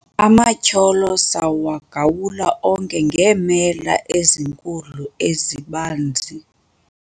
amatyholo sawagawula onke ngeemela ezinkulu ezibanzi